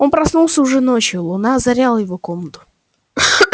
он проснулся уже ночью луна озаряла его комнату